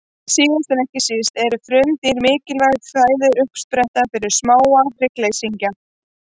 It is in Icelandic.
Síðast en ekki síst eru frumdýr mikilvæg fæðuuppspretta fyrir smáa hryggleysingja.